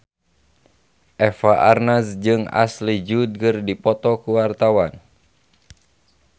Eva Arnaz jeung Ashley Judd keur dipoto ku wartawan